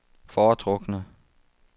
foretrukne